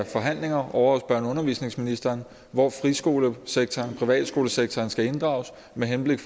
forhandlinger ovre hos og undervisningsministeren hvor friskolesektoren og privatskolesektoren skal inddrages med henblik